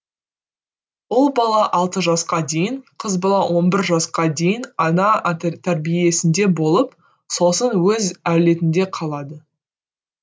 ұл бала алты жасқа дейін қыз бала он бір жасқа дейін ана тәрбиесінде болып сосын өз әулетінде қалады